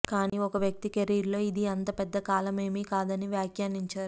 కానీ ఒక వ్యక్తి కెరీర్లో ఇది అంత పెద్ద కాలమేమీ కాదని వ్యాఖ్యానించారు